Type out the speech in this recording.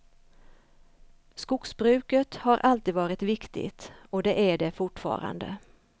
Skogsbruket har alltid varit viktigt och det är det fortfarande.